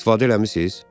İstifadə eləmisiz?